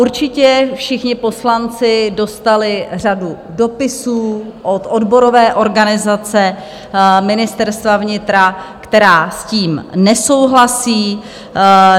Určitě všichni poslanci dostali řadu dopisů od odborové organizace Ministerstva vnitra, která s tím nesouhlasí.